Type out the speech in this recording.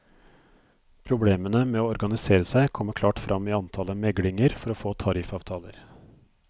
Problemene med å organisere seg kommer klart frem i antallet meglinger for å få tariffavtaler.